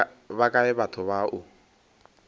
ba kae batho ba o